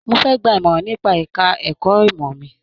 Mó fẹ gbà imọran nípa ẹka ẹ̀kọ́ ìmọ mí.